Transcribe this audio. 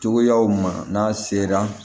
Cogoyaw ma n'a sera